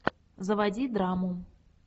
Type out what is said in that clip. заводи драму